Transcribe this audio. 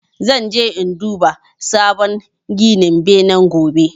Zan je in duba sabon gidan benen gobe